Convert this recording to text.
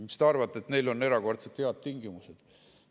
Kas te arvate, et neil on erakordselt head tingimused?